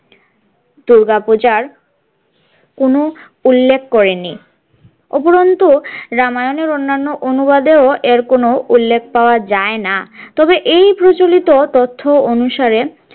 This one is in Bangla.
দূর্গাপূজার কোনো উল্লেখ করেনি উপরন্তু রামায়ণের অন্যান্য অনুবাদেও এর কোনো উল্লেখ পাওয়া যায় না তবে এই প্রচলিত তথ্য অনুসারে।